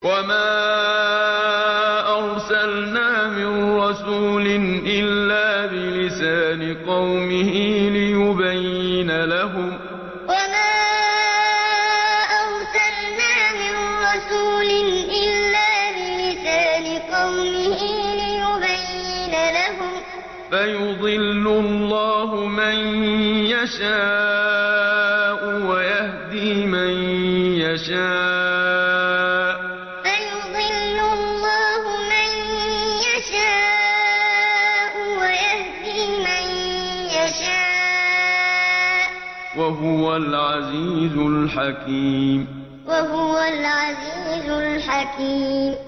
وَمَا أَرْسَلْنَا مِن رَّسُولٍ إِلَّا بِلِسَانِ قَوْمِهِ لِيُبَيِّنَ لَهُمْ ۖ فَيُضِلُّ اللَّهُ مَن يَشَاءُ وَيَهْدِي مَن يَشَاءُ ۚ وَهُوَ الْعَزِيزُ الْحَكِيمُ وَمَا أَرْسَلْنَا مِن رَّسُولٍ إِلَّا بِلِسَانِ قَوْمِهِ لِيُبَيِّنَ لَهُمْ ۖ فَيُضِلُّ اللَّهُ مَن يَشَاءُ وَيَهْدِي مَن يَشَاءُ ۚ وَهُوَ الْعَزِيزُ الْحَكِيمُ